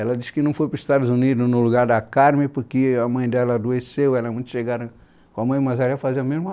Ela disse que não foi para os Estados Unidos no lugar da Carmen, porque a mãe dela adoeceu, ela era muito chegada com a mãe, mas ela ia fazer a mesma...